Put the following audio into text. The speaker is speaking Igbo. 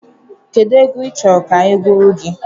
Kedụ egwu ị chọrọ ka anyị gụọrọ gị?